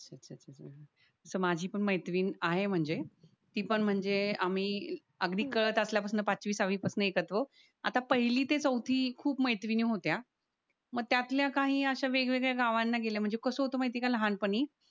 तस माझी पण मैत्रीण आहे म्हणजे ती पण म्हणजे आम्ही अगदी कळत असल्या पासन पाचवी सहावी पासन एकत्र आहोत आता पहिली ते चौथी खूप मैत्रिणी होत्या म त्यातल्या काही अश्या वेगवेगळ्या गावांना गेल्या म्हणजे कास होत माहितीये का लहानपणी